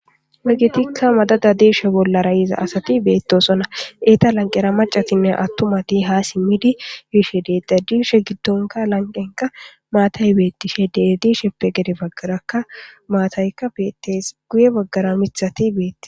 Wegetikka madada diishe bolla rayiza asati beettosona eeta lanqera macatinne attumati haa simmidi biishe deeda diishe giddonka lanqenka maatay beettishe dedisheppe gede baggarakka maataykka beettes guye baggara mithati beetti.